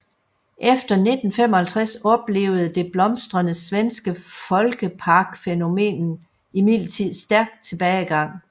Efter 1955 oplevede det blomstrende svenske folkeparkfænomen imidlertid stærk tilbagegang